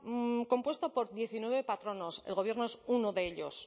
compuesta por diecinueve patronos el gobierno es uno de ellos